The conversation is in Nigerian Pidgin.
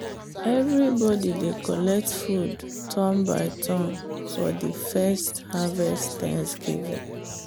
everybody dey collect food turn by turn for the first harvest thanksgiving.